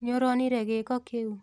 Nĩũronire gĩĩko kĩu?